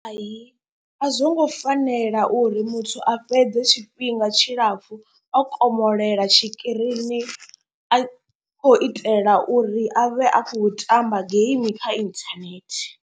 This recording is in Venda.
Hai a zwongo fanela uri muthu a fhedze tshifhinga tshilapfhu o komolela tshikirini a khou itela uri a vhe a khou tamba game kha inthanethe.